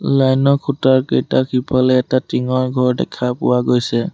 Line ৰ খুঁটাৰ কেইটা সিফালে এটা টিংৰ ঘৰ দেখা পোৱা হৈছে।